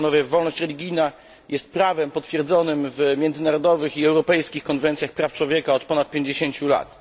Wolność religijna jest prawem potwierdzonym w międzynarodowych i europejskich konwencjach praw człowieka od ponad pięćdziesięciu lat.